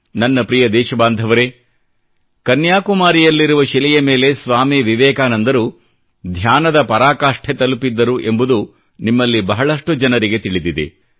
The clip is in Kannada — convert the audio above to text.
ನನ್ನ ಪ್ರಿಯ ದೇಶಬಾಂಧವರೆ ಕನ್ಯಾಕುಮಾರಿಯಲ್ಲಿರುವ ಶಿಲೆಯ ಮೇಲೆ ಸ್ವಾಮಿ ವಿವೇಕಾನಂದರು ಧ್ಯಾನದ ಪರಾಕಾಷ್ಟೆ ತಲುಪಿದ್ದರು ಎಂಬುದು ನಿಮ್ಮಲ್ಲಿ ಬಹಳಷ್ಟು ಜನರಿಗೆ ತಿಳಿದಿದೆ